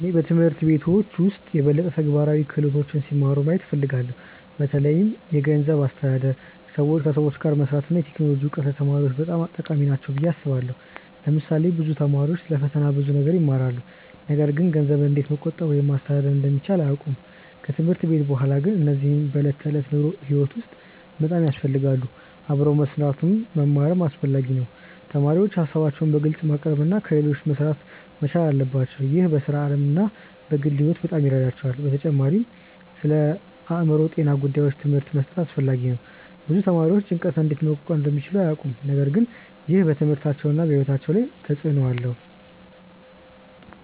እኔ በትምህርት ቤቶች ውስጥ የበለጠ ተግባራዊ ክህሎቶች ሲማሩ ማየት እፈልጋለሁ። በተለይ የገንዘብ አስተዳደር፣ ከሰዎች ጋር መስራት እና የቴክኖሎጂ እውቀት ለተማሪዎች በጣም ጠቃሚ ናቸው ብዬ አስባለሁ። ለምሳሌ ብዙ ተማሪዎች ስለ ፈተና ብዙ ነገር ይማራሉ፣ ነገር ግን ገንዘብን እንዴት መቆጠብ ወይም ማስተዳደር እንደሚቻል አያውቁም። ከትምህርት ቤት በኋላ ግን እነዚህ በዕለት ተዕለት ሕይወት ውስጥ በጣም ያስፈልጋሉ። አብሮ መስራትንም መማርም አስፈላጊ ነው። ተማሪዎች ሀሳባቸውን በግልጽ ማቅረብ እና ከሌሎች ጋር መሥራት መቻል አለባቸው። ይህ በሥራ ዓለም እና በግል ሕይወት በጣም ይረዳቸዋል። በተጨማሪም ስለአእምሮ ጤና ጉዳዮች ትምህርት መስጠት አስፈላጊ ነው። ብዙ ተማሪዎች ጭንቀትን እንዴት መቋቋም እንደሚችሉ አያውቁም፣ ነገር ግን ይህ በትምህርታቸውና በሕይወታቸው ላይ ትልቅ ተጽእኖ አለው።